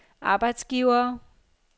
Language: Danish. arbejdsgivere